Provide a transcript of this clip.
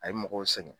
A ye mɔgɔw sɛgɛn